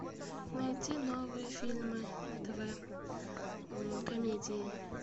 найди новые фильмы на тв комедии